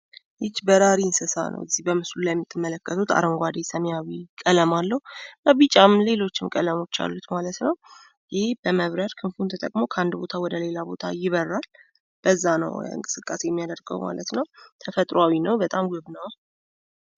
ይቺ በራሪ እንስሳ ናት። እዚህ በምስሉ ላይ የምትመለከቱት አረንጓዴ ሰማያዊ ቀለም አለው። ቢጫም ሌሎችም ቀለሞች አሉት ማለት ነው። ይህ በመብረር ክንፉን ተጠቅሞ ከአንድ ቦታ ወደሌላ ቦታ ይበራል። በዛ ነው እንቅሰቃሴ የሚያደርገው ማለት ነው። ተፈጥሯዊ ነው፣ በጣም ውብ ነው።